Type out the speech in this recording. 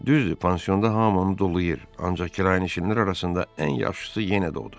Düzdür, pansiyonda hamını dolayıır, ancaq kirayənişinlər arasında ən yaxşısı yenə də odur.